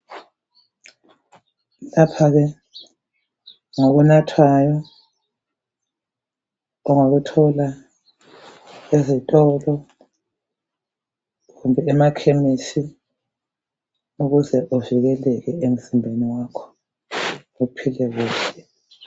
Lapha ke ngokunathwayo ongakuthola ezitolo kumbe emakhemisi ukuze kuvikeleke emzimbeni wakho uphile kuhle.